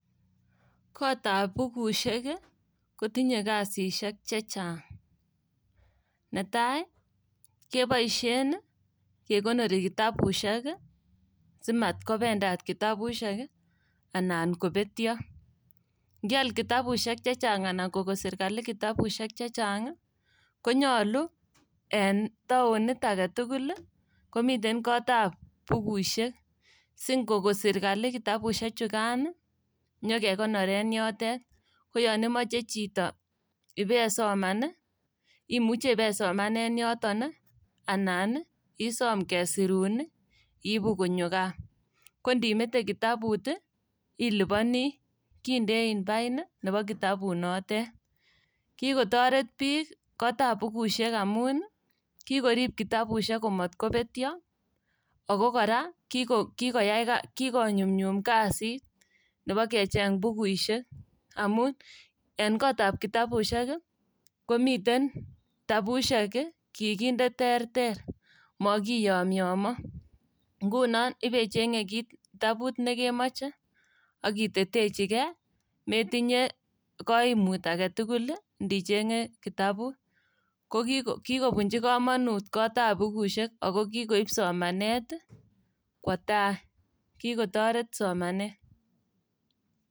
Kotab bukusiek ii kotinye kasisiek chechang'. Netai ii keboisien kekonori kitabusiek simat kopendat kitabusiek nan kobetio. Nkial kitabusiek chechang' alan koko sirkali kitabusiek chechang' ii konyolu en taonit agetukul komiten kotab bukusiek singoko sirkali kitabusiek chukan ii inyo kekonoren yotet. Koyon imoche chito ipesoman ii, imuche ipesoman en yoton ii anan isom kesirun ii iibu konyo gaa . Kondimete kitabut ii iliponi kindein pain nebo kitabunotet. Kikotoret biik kotab bukusiek amun ii kikorib kitabusiek komotkobetio ago kora kikoyai kikonyumnyum kasit nebo kecheng' bukuisiek amun en kotab kitabusiek ii komiten kitabusiek kikinde terter mokiyomyo. Ngunon ibecheng'e kit kitabut nekemoche ak itetechikei metinye koimut agetukul ndicheng'e kitabut. Koki kokikobunji komonut kotab bukusiek ako kikoib somanet kwo tai, kikotoret somanet.